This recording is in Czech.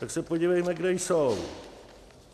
Tak se podívejme, kde jsou.